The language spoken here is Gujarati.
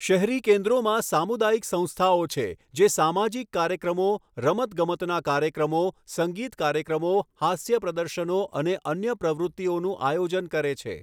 શહેરી કેન્દ્રોમાં સામુદાયિક સંસ્થાઓ છે જે સામાજિક કાર્યક્રમો, રમતગમતના કાર્યક્રમો, સંગીત કાર્યક્રમો, હાસ્ય પ્રદર્શનો અને અન્ય પ્રવૃત્તિઓનું આયોજન કરે છે.